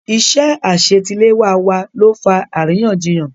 Iṣẹ́ àṣetiléwá wa ló fa àríyànjiyàn.